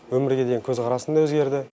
өмірге деген көзқарасым да өзгерді